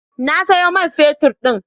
Na sayo man fetut din.